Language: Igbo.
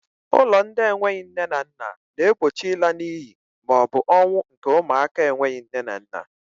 Ụlọ ndị enweghị nne na nna na-egbochi ịla n'iyi maọbụ ọnwụ nke ụmụaka enweghị nne na nna.